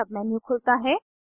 एक सबमेन्यू खुलता है